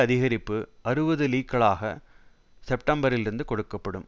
அதிகரிப்பு அறுபது லீக்களாக செப்டம்பரிலிருந்து கொடுக்க படும்